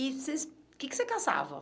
E vocês... o que que você caçava?